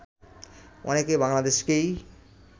অনেকে বাংলাদেশকেই